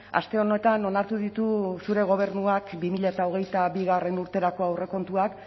aste honetan onartu ditu zure gobernuak bi mila hogeita bigarrena urterako aurrekontuak